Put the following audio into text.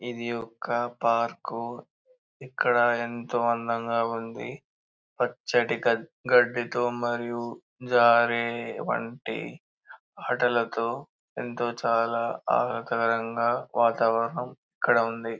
ఇది ఒక పార్క్ ఇక్కడ ఎంతో అందంగా ఉంది పచ్చటి గడ్డి తో మరియు జరే లాంటి ఆటలతో ఎంతో చాలా ఆహ్లాద కరంగ వాతావరణం ఇక్కడ ఉంది.